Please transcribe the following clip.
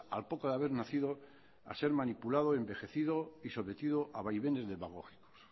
al poco de haber nacido a ser manipulado envejecido y sometido a vaivenes demagógicos